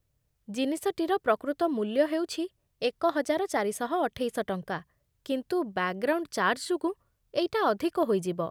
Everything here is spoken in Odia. ଜିନିଷଟିର ପ୍ରକୃତ ମୂଲ୍ୟ ହେଉଛି ଏକହଜାର ଚାରିଶହ ଅଠେଇଶ ଟଙ୍କା, କିନ୍ତୁ ବ୍ୟାକ୍‌ଗ୍ରାଉଣ୍ଡ୍ ଚାର୍ଜ୍ ଯୋଗୁଁ ଏଇଟା ଅଧିକ ହୋଇଯିବ ।